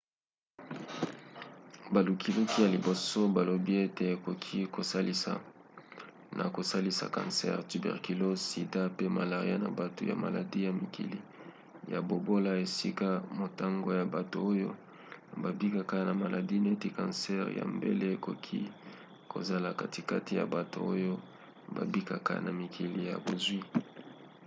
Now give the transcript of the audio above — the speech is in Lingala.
balukiluki ya liboso balobi ete ekoki kosalisa na kosilisa kansere tuberculose sida pe malaria na bato ya maladi na mikili ya bobola esika motango ya bato oyo babikaka na maladi neti kansere ya mabele ekoki kozala katikati ya bato oyo babikaka na mikili ya bozwi